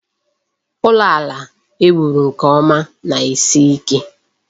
Ụlọ ala e wuru nke ọma na-esi ike.